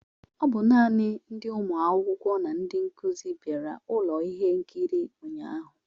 Ọ bụ naanị ndi ụmụ akwụkwọ na ndị nkuzi bịara ụlọ ihe nkiri ụnyahụ